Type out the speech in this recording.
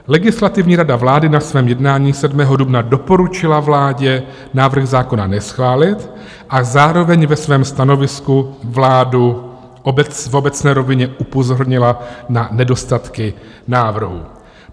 Legislativní rada vlády na svém jednání 7. dubna doporučila vládě návrh zákona neschválit a zároveň ve svém stanovisku vládu v obecné rovině upozornila na nedostatky návrhu.